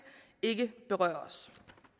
ikke berøres